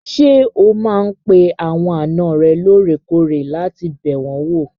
Ṣé o máa n pe àwọn àna rẹ lóòrèkóòrè láti bẹ̀ wọ́n wò?